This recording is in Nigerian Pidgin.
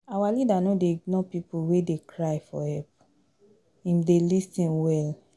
Our leader no dey ignore pipo wey dey cry for help, im dey lis ten well.